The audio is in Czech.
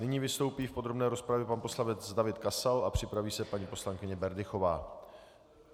Nyní vystoupí v podrobné rozpravě pan poslanec David Kasal a připraví se paní poslankyně Berdychová.